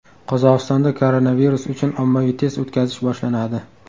Qozog‘istonda koronavirus uchun ommaviy test o‘tkazish boshlanadi .